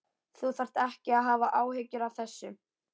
Þú þarft ekki að hafa áhyggjur af þessu.